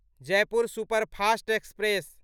Jaipur superfast express